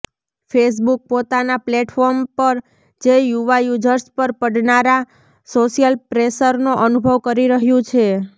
Facebook પોતાના platform પર જે યુવા યુઝર્સ પર પડનારા સોશિયલ પ્રેશરનો અનુભવ કરી રહ્યું છે